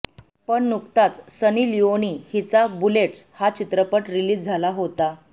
पण नुकताच सनी लिओनी हिचा बुलेट्स हा चित्रपट रिलीज झाला होता